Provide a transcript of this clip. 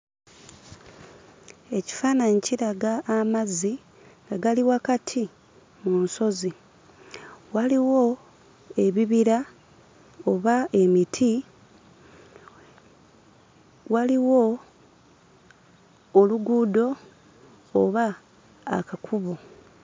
Ekifaananyi kiraga amazzi nga gali wakati mu nsozi, waliwo ebibira oba emiti, waliwo oluguudo oba akakubo.